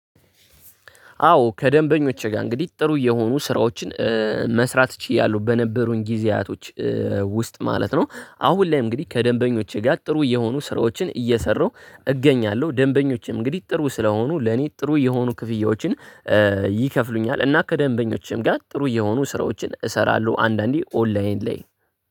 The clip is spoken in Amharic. አዎ ከደንበኞቼ ጋር እንግዲህ ጥሩ የሆኑ ስራዎችን መስራት ችያለሁ በነበሩኝ ጊዜያቶች ውስጥ ማለት ነው። አሁን ላይ እንግዲህ ከደንበኞቼ ጋር ጥሩ የሆኑ ስራዎችን እየሰራሁ እገኛለሁ። ደንበኞችም እንግዲህ ጥሩ ስለሆኑ ለኔ ጥሩ የሆኑ ክፍያዎችን ይከፍሉኛል። እና ከደንበኞቸም ጋር ጥሩ እየሆኑ ስራዎችን እሰራለሁ። አንዳንዴ ኦንላይን ላይ